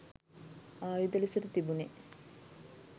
ආයුධ ලෙසට තිබුනෙ